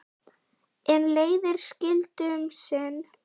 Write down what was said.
En leiðir skildu um sinn.